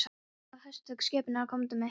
Hann sagði höstugum skipunarrómi: Komdu hingað.